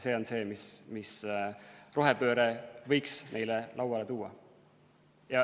See on see, mis rohepööre võiks neile lauale tuua.